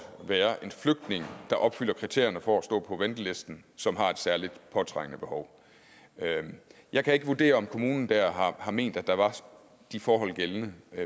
være en flygtning der opfylder kriterierne for at stå på ventelisten som har et særligt påtrængende behov jeg kan ikke vurdere om kommunen der har ment at de forhold var gældende